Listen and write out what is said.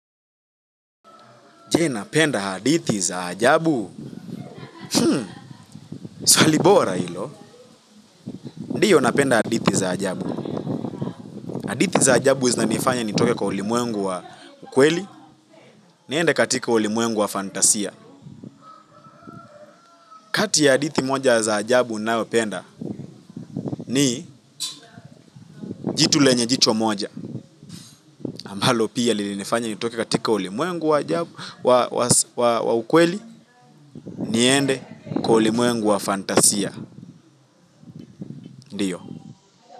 Je, napenda hadithi za ajabu. Hmm, swali bora hilo. Ndiyo, napenda hadithi za ajabu. Hadithi za ajabu, zinanifanya, nitoke kwa ulimwengu wa ukweli. Niende katika ulimwengu wa fantasia. Kati ya hadithi moja za ajabu, ninayopenda, ni jitu lenye jicho moja. Ambalo pia, lilinifanya, nitoke katika ulimuengu wa ukweli. Niende kwa ulimuengu wa fantasia. Ndiyo.